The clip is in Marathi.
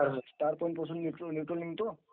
is not clear